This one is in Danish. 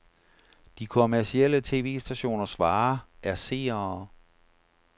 De kommercielle tv-stationers vare er seere.